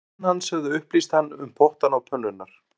Menn hans höfðu upplýst hann um pottana og pönnurnar